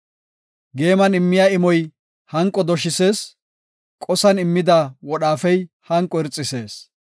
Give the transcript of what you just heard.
Geeman immiya imoy hanqo doshisees; qosan immida wodhaafey hanqo irxisees.